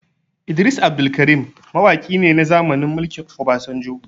Idris Abdulkarim mawaki ne na zamanin mulkin Obasanjo